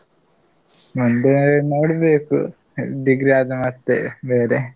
ಮುಂದೆ ನೋಡ್ಬೇಕು Degree ang:Foreign ಆದ ಮತ್ತೆ ಬೇರೆ.